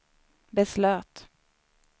beslöt